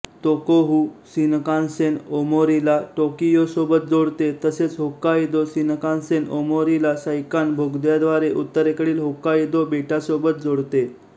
Tohoku Shinkansen ओमोरीला टोकियोसोबत जोडते तसेच होक्काइदो शिनकान्सेन ओमोरीला सैकान बोगद्याद्वारे उत्तरेकडील होक्काइदो बेटासोबत जोडते